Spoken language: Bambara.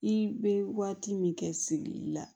I bɛ waati min kɛ sigili la